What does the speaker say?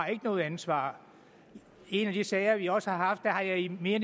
noget ansvar i en af de sager vi også har haft har jeg i mere